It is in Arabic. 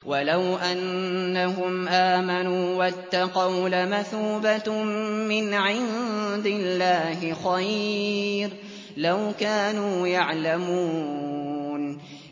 وَلَوْ أَنَّهُمْ آمَنُوا وَاتَّقَوْا لَمَثُوبَةٌ مِّنْ عِندِ اللَّهِ خَيْرٌ ۖ لَّوْ كَانُوا يَعْلَمُونَ